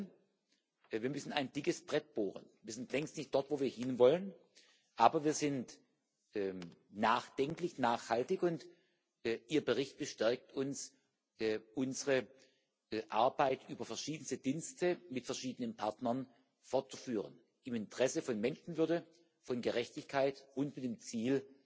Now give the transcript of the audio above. Alles in allem müssen wir ein dickes Brett bohren wir sind längst nicht dort, wo wir hinwollen, aber wir sind nachdenklich, nachhaltig, und Ihr Bericht bestärkt uns, unsere Arbeit über verschiedenste Dienste mit verschiedenen Partnern fortzuführen im Interesse von Menschenwürde, von Gerechtigkeit und mit dem Ziel,